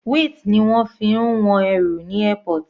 Weight ni wọ́n fi ń wọn ẹrù ní airport.